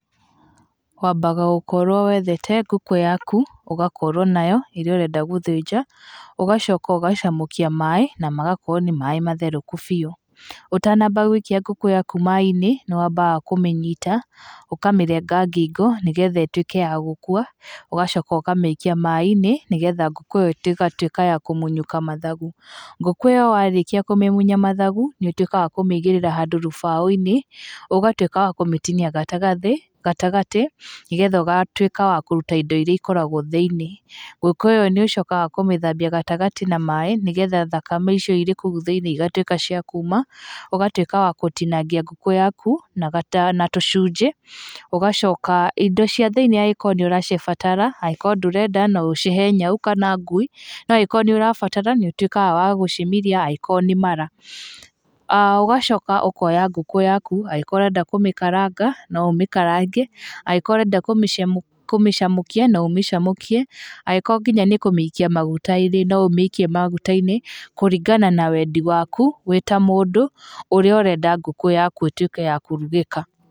Wambaga gũkorwo wethete ngũkũ yaku, ũgakorwo nayo, ĩrĩa ũreenda gũthĩnja, ũgacoka ũgacamũkia maĩ na magakorwo nĩ maĩ matherũku biũ, ũtanambia gũikia ngũkũ yaku maĩ-inĩ, nĩ wambaga kũmĩnyita, ũkamĩrenga ngingo, nĩgetha ĩtuĩke ya gũkua, ũgacoka ũkamĩikia maĩ-inĩ nĩgetha ngũkũ ĩyo ĩgatuĩka ya kũmunyũka mathagu. Ngũkũ ĩyo warĩkia kũmĩmunya mathagu, nĩ ũtuĩke wa kũmĩigĩrĩra handũ rũmbaũ-inĩ, ũgatuĩka wa kũmĩtinia gatagatĩ gatagatĩ, nĩgetha ũgatuĩka wa kũruta indo iria ikoragwo thĩiniĩ, ngũkũ ĩyo nĩ ũcokaga kũmĩthambia gatagatĩ na maĩ, nĩgetha thakame icio irĩ kũu thĩiniĩ igatuĩka cia kuuma, ũgatuĩka wa gũtinangia ngũkũ yaku na tũcunjĩ, ũgacoka indo cia thĩiniĩ angĩkorwo nĩ ũracibatara, angĩkorwo ndũrenda no ũcihe nyau kana ngui, no angĩkorwo nĩ ũrabatara, nĩ ũtuĩkaga wa gũcimiria angĩkorwo nĩ mara. Ũgacoka ũkoya ngũkũ yaku angĩkorwo ũrenda kũmĩkaranga no ũmĩkarange, angĩkorwo ũrenda kũmĩcamũkia no ũmĩcamũkie, angĩkorwo nginya nĩ kũmĩikia maguta-inĩ, no ũmĩikie maguta-inĩ, kũringana na wendi waku wĩ ta mũndũ ũrĩa ũrenda ngũkũ yaku ĩtuĩke ya kũrugĩka.